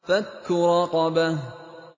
فَكُّ رَقَبَةٍ